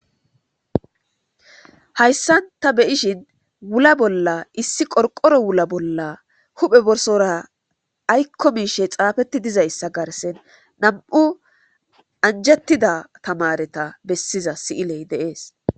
Hayssan ta be7ishin wula bolla issi qorqoro wula bolla huphe borsora aykko miishe xaafetti dizayssa garsen nam7u anjettida tamareta bessiza si7iley de7ees.